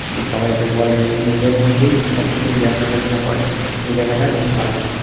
সবাই কে বলে নিজেদের মধ্যে সবকিছু জ্ঞান আলচনা করে | এই জায়গাটা খুব ভাল |